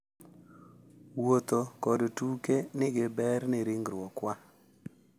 Wuotho ​​kod tuke nigi ber ne ringruokwa